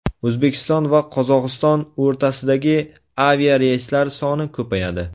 O‘zbekiston va Qozog‘iston o‘rtasidagi aviareyslar soni ko‘payadi.